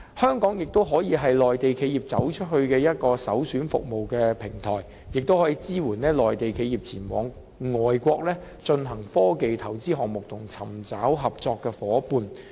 香港亦可以是內地企業"走出去"的首選服務平台，並可以支援內地企業前往外國進行科技投資項目和尋找合作夥伴。